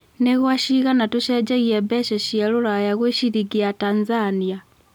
nĩ gwa cigana tũcenjagia mbeca cĩa rũraya gwĩ ciringi ya Tanzania